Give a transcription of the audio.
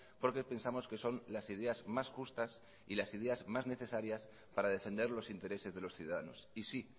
porque pensamos que son las ideas más justas y las ideas más necesarias para defender los intereses de los ciudadanos y sí